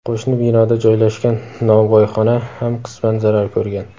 qo‘shni binoda joylashgan nonvoyxona ham qisman zarar ko‘rgan.